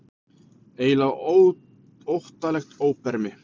Eiginlega óttalegt óbermi.